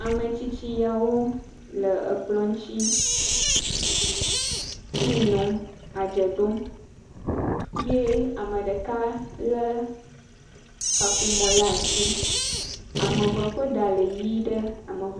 Ametsitsiawo le ekplɔ ŋuti tii nɔm, adze ɖom ye ame ɖeka lé kaƒomɔ le asi, ame eve ƒe ɖa le ʋi ɖe, ame ev……